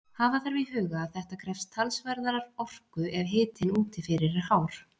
Hafa þarf í huga að þetta krefst talsverðrar orku ef hitinn úti fyrir er hár.